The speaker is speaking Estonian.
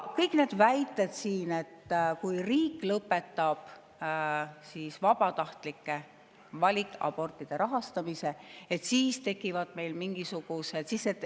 Kõik need väited, et kui riik lõpetab valikabortide rahastamise, siis tekivad mingisugused …